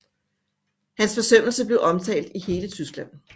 Hans forsømmelse blev omtalt i hele Tyskland